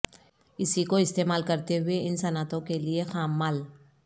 اسی کو استعمال کرتے ہوئے ان صنعتوں کے لئے خام مال